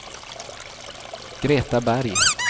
Greta Berg